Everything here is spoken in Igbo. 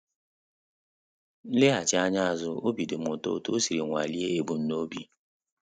M eleghachi anya azu, obi dịm ụtọ otu o siri nwalie ebum n'obi